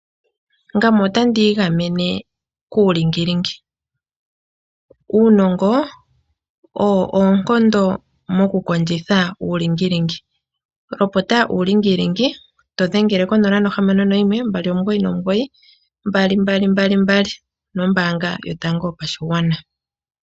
Ngame otandi igamene kuulingilingi. Uunongo owo oonkondo mokukondjitha uulingilingi. Lopota uulingilingi to dhengele ko 061 2992222, onombaanga yotango yopashigwana.